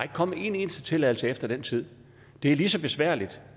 kommet en eneste tilladelse efter den tid det er lige så besværligt